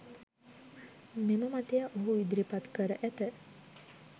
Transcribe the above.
මෙම මතය ඔහු ඉදිරිපත් කර ඇත